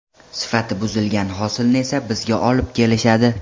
Sifati buzilgan hosilni esa bizga olib kelishadi.